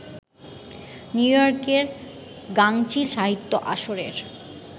নিউইয়র্কের গাঙচিল সাহিত্য আসরের